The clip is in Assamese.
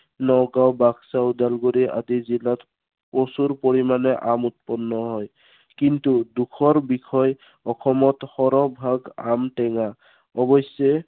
নগাওঁ, বাক্সা, ওদালগুৰি আদি জিলাত, প্ৰচুৰ পৰিমানে আম উৎপন্ন হয়। কিন্তু দুখৰ বিষয়, অসমৰ সৰহভাগ আম টেঙা। অৱশ্য়ে